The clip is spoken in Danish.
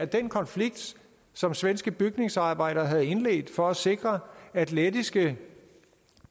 den konflikt som svenske bygningsarbejdere havde indledt for at sikre at lettiske